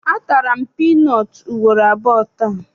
A tara m piinọọtụ ugboro abụọ taa.